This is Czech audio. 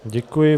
Děkuji.